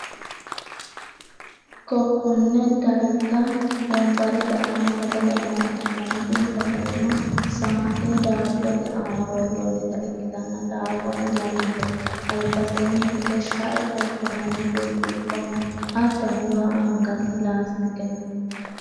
kokonne darga wonbarete aana sagale nooha ikkanna, tini sagaleno saa'ne daabbote aana worroonnita ikkitanna daabbono lamete, albaseenni hige sha'e xorshi'nanni birciqqo no, hattono waa anganni laasitike no.